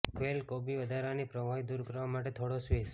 quail કોબી વધારાની પ્રવાહી દૂર કરવા માટે થોડો સ્વીઝ